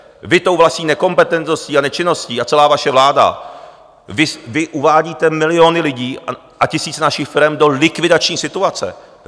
Vy tou vlastní nekompetentností a nečinností, a celá vaše vláda, vy uvádíte miliony lidí a tisíce našich firem do likvidační situace.